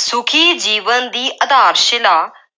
ਸੁਖੀ ਜੀਵਨ ਦੀ ਆਧਾਰ-ਸ਼ਿਲਾ